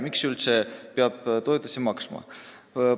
Miks peab üldse toetusi maksma?